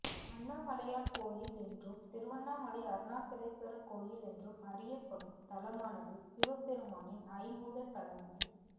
அண்ணாமலையார் கோயில் என்றும் திருவண்ணாமலை அருணாசலேஸ்வரர் கோயில் என்றும் அறியப்படும் தலமானது சிவபெருமானின் ஐம்பூதத் தலங்களில்